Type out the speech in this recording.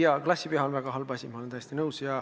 Jaa, klassiviha on väga halb asi, ma olen täiesti nõus.